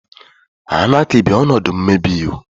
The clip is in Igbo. Anaaky bụ ọnọdụ mmebi iwu.